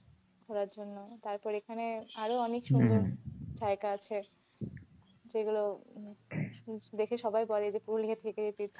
ঘুরার জন্য। তারপর এখানে আরও অনেক সুন্দর জায়গা আছে যেগুলো দেখে সবাই বলে যে পুরুলিয়া থেকে এটি